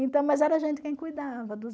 Então, mas era a gente quem cuidava dos